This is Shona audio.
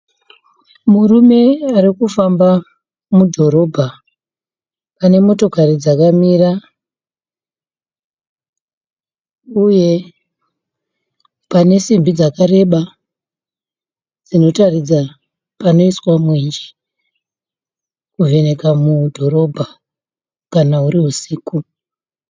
Murume arikufamba mudhorobha pane motokari dzakamira uye pane simbi dzakareba dzinotaridza panoiswa mwenje kuvheneka mudhorobha kana huri husiku.